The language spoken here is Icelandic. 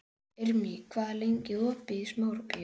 Irmý, hvað er lengi opið í Smárabíói?